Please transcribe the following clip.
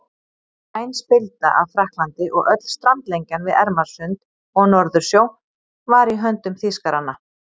Væn spilda af Frakklandi og öll strandlengjan við Ermarsund og Norðursjó var í höndum Þýskaranna.